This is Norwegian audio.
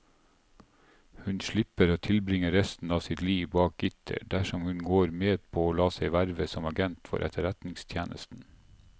Hun slipper å tilbringe resten av sitt liv bak gitter dersom hun går med på å la seg verve som agent for etterretningstjenesten.